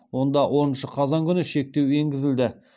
онда оныншы қазан күні шектеу енгізілді